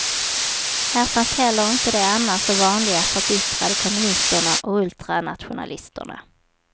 Här fanns heller inte de annars så vanliga förbittrade kommunisterna och ultranationalisterna.